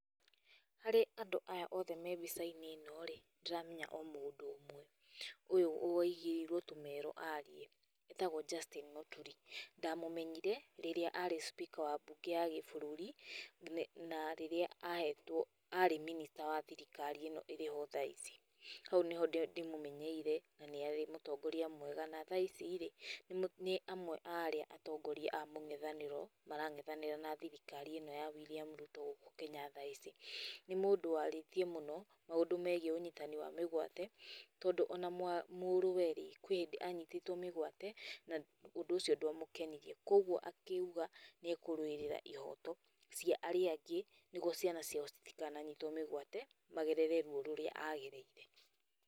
Harĩ andũ aya othe me mbica-inĩ ĩno-rĩ, ndĩramenya o mũndũ ũmwe, ũyũ wĩigĩirwo tũmero arie etagwo Justin Mũturi. Ndamũmenyire rĩrĩa arĩ speaker wa mbunge ya gĩbũrũri na rĩrĩa ahetwo, arĩ minister wa thirikari ĩno ĩrĩho tha ici. Hau nĩho ndĩmũmenyeire na nĩ arĩ mũtongoria mwega. Na tha ici-rĩ nĩ amwe a arĩ atongoria a mũng'ethanĩro marang'ethanĩra na thirikari ĩno ya William Ruto gũkũ Kenya tha ici. Nĩ mũndũ warĩtie mũno maũndũ megiĩ ũnyitani wa mĩgwate, tondũ ona mũrũwe-rĩ kũrũ hĩndĩ anyitĩtwo mĩgwate, na ũndũ ũcio ndwamũkenirie, kougo akiuga nĩ ekũrũĩra ihoto cia arĩa angĩ nĩguo ciana ciao citikananitwo mĩgwate magerere ruo rũrĩa agereire.